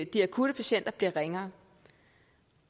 de akutte patienter bliver ringere